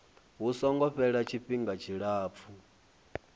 hu songo fhela tshifhinga tshilapfu